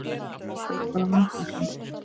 Þú ert bara vanþakklát.